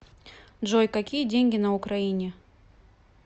джой какие деньги на украине